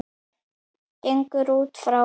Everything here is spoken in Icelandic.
gengur út frá.